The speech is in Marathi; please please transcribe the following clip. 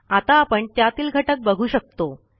आता आपण त्यातील घटक बघू शकतो